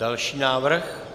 Další návrh.